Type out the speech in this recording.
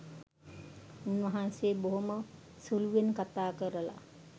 උන්වහන්සේ බොහොම සුළුවෙන් කතා කරලා